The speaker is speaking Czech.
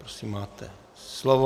Prosím, máte slovo.